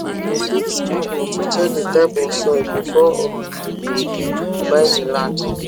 we dig small hole to check the type of soil before um we we buy the land